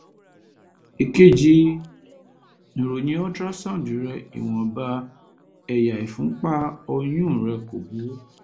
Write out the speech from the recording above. èkejì ìròyìn ultrasound rẹ ìwọnba ẹ̀yà ìfúnpá ọ̀yún rẹ kò burú